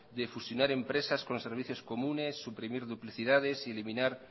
de fusionar empresas con servicios comunes suprimir duplicidades y eliminar